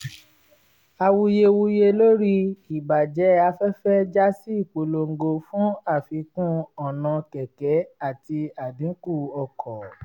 awuyewuye lórí ìbàjẹ́ afẹ́fẹ́ já sí ìpolongo fún àfikún ọ̀nà kẹ̀kẹ́ àti àdínkù ọkọ̀